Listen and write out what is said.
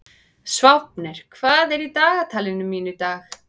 Sváfnir, hvað er í dagatalinu mínu í dag?